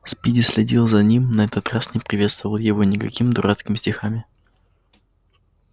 спиди следил за ним на этот раз не приветствовал его никакими дурацкими стихами